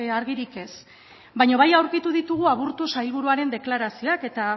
argirik ez baina bai aurkitu ditugu aburto sailburuaren deklarazioak eta